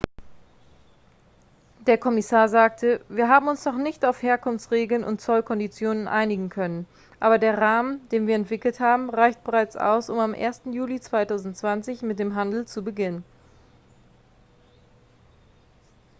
der kommissar sagte wir haben uns noch nicht auf herkunftsregeln und zollkonditionen einigen können aber der rahmen den wir entwickelt haben reicht bereits aus um am 1. juli 2020 mit dem handel zu beginnen